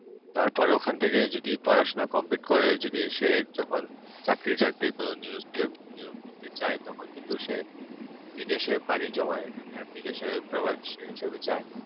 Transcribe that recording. তারপর ওখান থেকে যদি পড়াশোনা complete করে যদি সে যখন চাকরি করে নিয়োগ দিও দিতে যায় তখন সে বিদেশে বাড়িতে যাওয়ার বিদেশে হিসেবে যায়